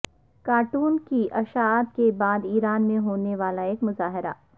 کارٹونوں کی اشاعت کے بعد ایران میں ہونے والا ایک مظاہرہ